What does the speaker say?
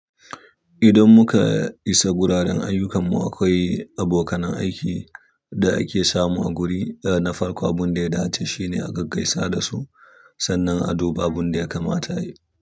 Idan muka isa wuraren ayyukanmu, akwai abokanan aikin da ake samu a guri na farko. Abin da ya dace shine a gaggaisa da su sannan a duba abin da ya kamata ayi.